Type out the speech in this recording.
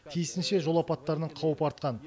тиісінше жол апаттарының қаупі артқан